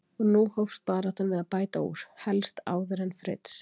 Og nú hófst baráttan við að bæta úr, helst áður en Fritz